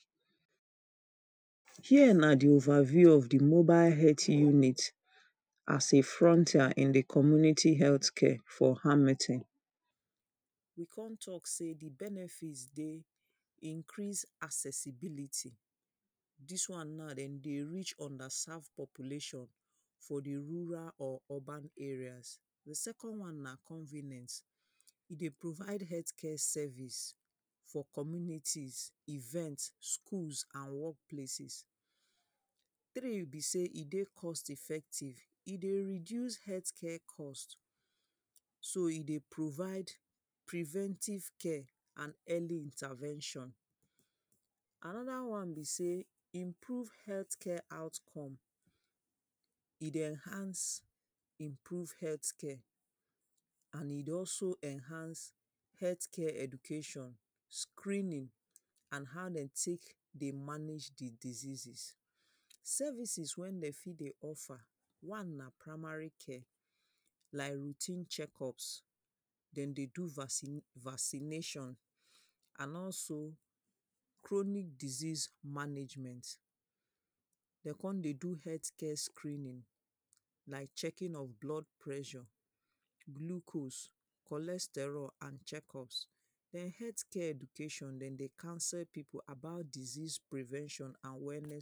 Here na the over view of the mobile health inmate as a frontier in the community health care for hamilton. We con talk say the benefit dey increase accessibilty. Dis one now, dem dey reach underserve population for the rural or urban area. The second one na convenient. E dey provide health care service for community, event, school and work places. Three be sey e dey cost effective. E dey reduce health care cost. So e dey provide preventive care and early intervention. Another one be sey improve health care outcome. E dey enhance improve health care. And e dey also enhance health care education, screening and how dem take dey manage the diseases. Services wey dem fit dey offer. One na primary care. Like routine check-up. Dem dey do vaccination and also chronic disease management. Dem con dey do health care screening. Like checking of blood pressure, glucose, cholesterol and check-up. Ern health care education dem dey counsel people about disease prevention and wellness.